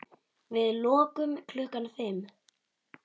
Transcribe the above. Við lokum klukkan fimm.